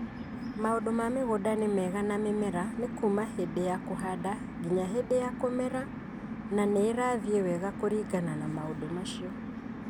Maũndũ ma mĩgũnda nĩ mega na mĩmera nĩ kuuma hĩndĩ ya kũhanda nginya hĩndĩ ya kũmera na nĩ ĩrathiĩ wega kũringana na maũndũ macio.